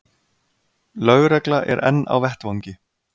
Lögregla er enn á vettvangi